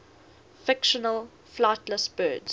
fictional flightless birds